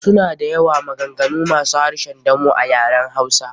Suna da yawa, maganganu masu harshen damo a yaren hausa.